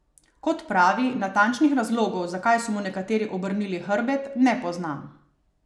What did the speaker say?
Kot pravi, natančnih razlogov, zakaj so mu nekateri obrnili hrbet, ne pozna.